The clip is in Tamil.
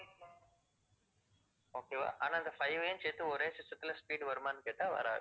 okay வா ஆனா அந்த five வையும் சேத்து ஒரு system த்துல speed வருமான்னு கேட்டா வராது.